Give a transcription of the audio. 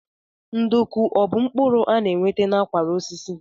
Nduku ọ bụ mkpụrụ a na-enweta n'akwara osisi?